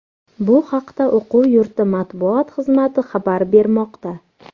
Bu haqda o‘quv yurti matbuot xizmati xabar bermoqda .